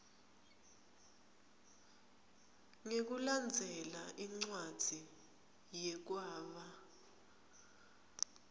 ngekulandzela incwadzi yekwaba